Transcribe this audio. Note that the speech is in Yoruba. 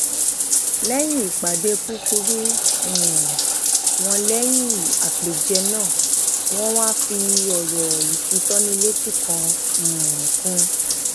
léyìn ìpàdé kúkúrú um wọn lẹyìn àpèjẹ náà wọn wá fi ọrọ ìfitónilétí kan um kun